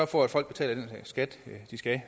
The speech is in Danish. for at folk betaler den skat de skal